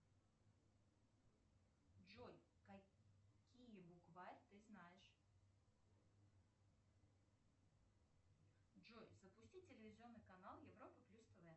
джой какие букварь ты знаешь джой запустить телевизионный канал европа плюс тв